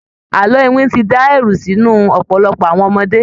Àlọ iwin ti dá ẹ̀rù sí inú ọ̀pọ̀lọpọ̀ àwon ọmọdé.